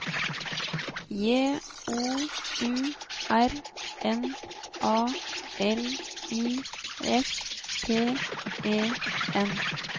J O U R N A L I S T E N